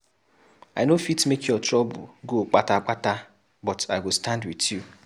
I no fit make your trouble go kpata kpata but I go stand wit you.